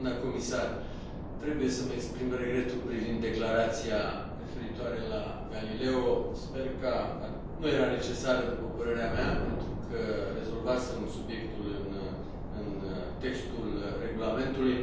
Doamnă comisar, trebuie să îmi exprim regretul privind declarația referitoare la Galileo nu era necesară, după părerea mea, pentru că rezolvasem subiectul în textul regulamentului.